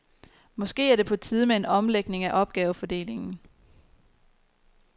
Måske er det på tide med en omlægning af opgavefordelingen.